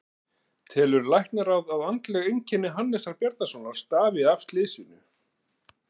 Telur Læknaráð, að andleg einkenni Hannesar Bjarnasonar stafi af slysinu?